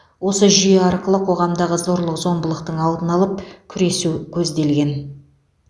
осы жүйе арқылы қоғамдағы зорлық зомбылықтың алдын алып күресу көзделген